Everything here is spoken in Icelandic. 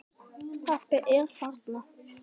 Pabbi er þarna.